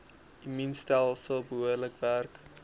immuunstelsel behoorlik werk